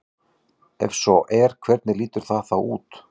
Ef svo er hvernig lítur það þá út?